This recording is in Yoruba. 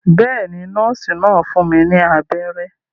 Bẹ́ẹ̀ ni, nọ́ọ́sì náà fún mi ní abẹ́rẹ́.